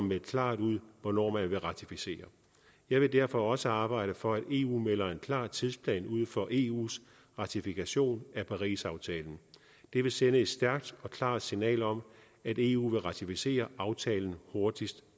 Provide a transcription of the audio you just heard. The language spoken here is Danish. meldt klart ud hvornår man vil ratificere jeg vil derfor også arbejde for at eu melder en klar tidsplan ud for eus ratifikation af parisaftalen det vil sende et stærkt og klart signal om at eu vil ratificere aftalen hurtigst